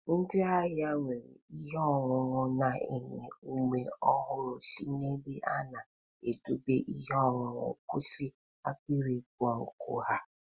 Ndị ahịa were ihe ọṅụṅụ na-enye ume ọhụrụ si n'ebe a na-edọbe ihe ọṅụṅụ kwusi akpịrị ịkpọ nkụ ha.